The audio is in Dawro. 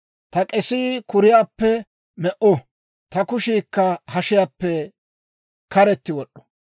ta k'eesii kuriyaappe me"o; ta kushiikka hashiyaappe karetti wod'd'o.